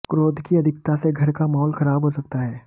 क्रोध की अधिकता से घर का माहौल खराब हो सकता है